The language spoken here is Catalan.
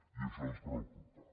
i això ens preocupa